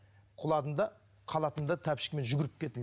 құладым да халатымды тәпішкемен жүгіріп